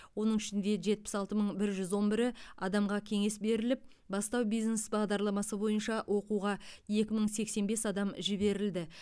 оның ішінде жетпіс алты мың бір жүз он бірі адамға кеңес беріліп бастау бизнес бағдарламасы бойынша оқуға екі мың сексен бес адам жіберілді